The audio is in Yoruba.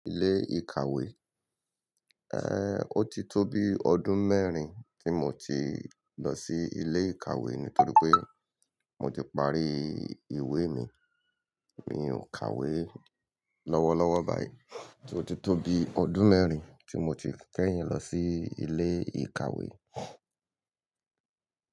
Ilé ìkàwé, eh, ó ti tó bi ọdún mẹ́rin tí mo ti lọ sí ilé ìkàwé nítorí pé mo ti parí ìwé mi. Mi ò kàwé lọ́wọ́lọ́wọ́ báyìí. Ó ti tó bi ọdún mẹ́rin tí mo ti kẹ́yin lọ sí ilé ìkàwé.